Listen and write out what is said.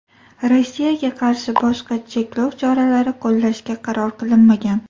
Rossiyaga qarshi boshqa cheklov choralari qo‘llashga qaror qilinmagan.